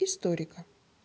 историка